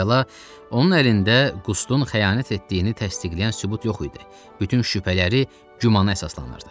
Əvvəla, onun əlində Qustun xəyanət etdiyini təsdiqləyən sübut yox idi, bütün şübhələri gümanda əsaslanırdı.